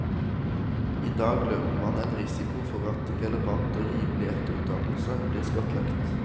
I dag løper man en risiko for at relevant og rimelig etterutdannelse blir skattlagt.